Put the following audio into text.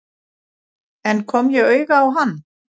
En kom ég auga á hann?